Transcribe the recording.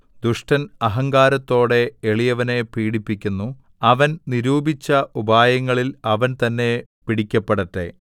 ദുഷ്ടൻ അഹങ്കാരത്തോടെ എളിയവനെ പീഡിപ്പിക്കുന്നു അവൻ നിരൂപിച്ച ഉപായങ്ങളിൽ അവൻ തന്നെ പിടിക്കപ്പെടട്ടെ